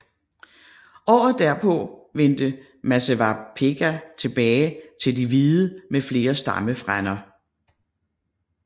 Året derpå vendte Masewapega tilbage til de hvide med flere stammefrænder